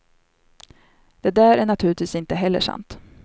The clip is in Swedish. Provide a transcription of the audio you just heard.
Det där är naturligtvis inte heller sant.